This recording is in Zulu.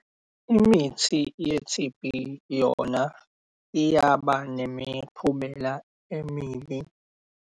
Imithi ye-T_B yona iyaba nemiphumela emibi.